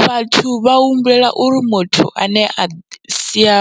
Vhathu vha humbulela uri muthu ane a sia